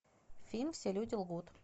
фильм все люди лгут